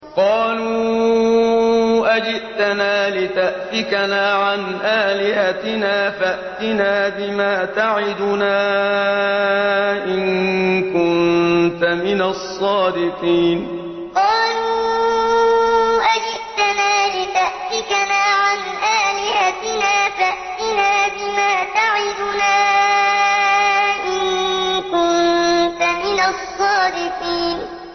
قَالُوا أَجِئْتَنَا لِتَأْفِكَنَا عَنْ آلِهَتِنَا فَأْتِنَا بِمَا تَعِدُنَا إِن كُنتَ مِنَ الصَّادِقِينَ قَالُوا أَجِئْتَنَا لِتَأْفِكَنَا عَنْ آلِهَتِنَا فَأْتِنَا بِمَا تَعِدُنَا إِن كُنتَ مِنَ الصَّادِقِينَ